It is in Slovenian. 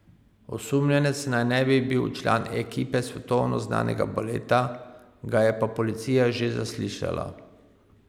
Osumljenec naj ne bi bil član ekipe svetovno znanega baleta, ga je pa policija že zaslišala.